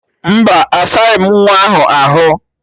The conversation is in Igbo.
Mba, asaghị m nwa ọhụrụ ahụ.